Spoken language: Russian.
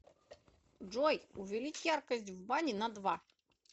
джой увеличь яркость в бане на два